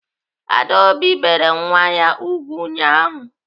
Adaobi bere nwa ya ùgwù ụnyaahụ.